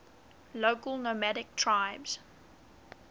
local nomadic tribes